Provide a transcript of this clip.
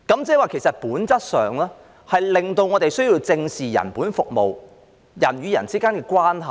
即是其實本質上，令我們需要正視人本服務、人與人之間的關係。